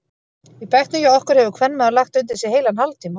Í bekknum hjá okkur hefur kvenmaður lagt undir sig heilan hálftíma.